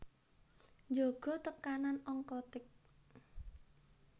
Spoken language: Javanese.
Njaga tekanan onkotik